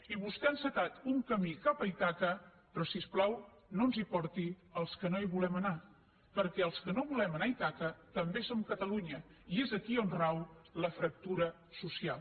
i vostè ha encetat un camí cap a ítaca però si us plau no ens hi porti als que no hi volem anar perquè els que no volem anar a ítaca també som catalunya i és aquí on rau la fractura social